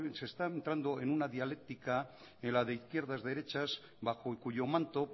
se está entrando en una dialéctica en la de izquierdas derechas bajo cuyo manto